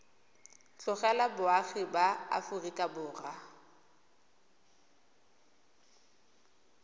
tlogela boagi ba aforika borwa